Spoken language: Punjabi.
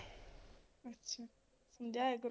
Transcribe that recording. ਅੱਛਾ ਸਮਝਾਇਆ ਕਰੋ